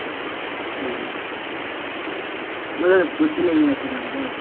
হ্যাঁ। সর্দি লেগে গেছে আমারে।